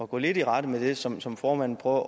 gå lidt i rette med det som som formanden prøver